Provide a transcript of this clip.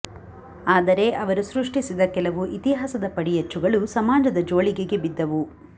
ಆದರೆ ಅವರು ಸೃಷ್ಟಿಸಿದ ಕೆಲವು ಇತಿಹಾಸದ ಪಡಿಯಚ್ಚುಗಳು ಸಮಾಜದ ಜೋಳಿಗೆಗೆ ಬಿದ್ದವು